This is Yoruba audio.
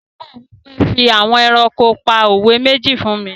Olùkọ́ náà wí pé "fi àwọn ẹranko pa òwe méjì fún mi!"